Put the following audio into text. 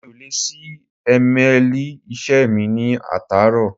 Mi ò lè ṣí émeèlì iṣẹ́ mi ní àtàárọ̀.